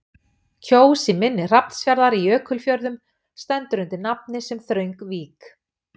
Kjós í mynni Hrafnsfjarðar í Jökulfjörðum stendur undir nafni sem þröng vík.